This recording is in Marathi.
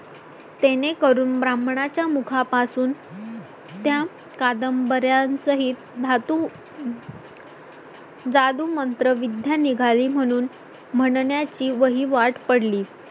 तेणे ब्राह्मणा च्या मुखा पासून त्या कादंबऱ्यांचे एक धातु जादू मंत्र विद्या निघाली म्हणून म्हणण्या ची वहिवाट पडली